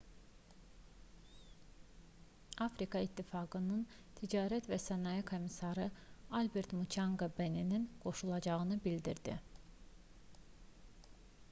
afrika ittifaqının ticarət və sənaye komissarı albert muçanqa beninin qoşulacağını bildirdi